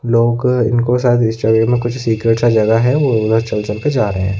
Local इनको शायद इस जगह में कुछ सीक्रेट सा जगह है वो उधर चल-चल के जा रहे हैं।